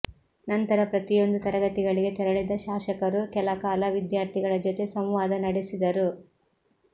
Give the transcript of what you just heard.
ನಂತರ ಪ್ರತಿಯೊಂದು ತರಗತಿಗಳಿಗೆ ತೆರಳಿದ ಶಾಸಕರು ಕೆಲ ಕಾಲ ವಿದ್ಯಾರ್ಥಿಗಳ ಜೊತೆ ಸಂವಾದ ನಡೆಸಿದರು